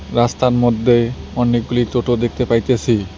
রাস্তার মধ্যে অনেকগুলি টোটো দেখতে পাইতেছি।